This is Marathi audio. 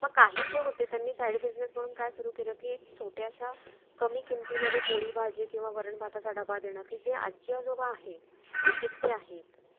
निराशा